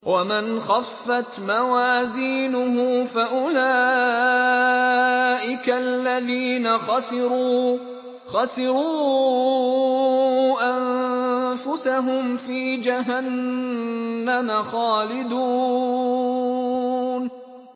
وَمَنْ خَفَّتْ مَوَازِينُهُ فَأُولَٰئِكَ الَّذِينَ خَسِرُوا أَنفُسَهُمْ فِي جَهَنَّمَ خَالِدُونَ